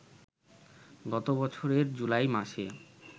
গতবছরের July মাসে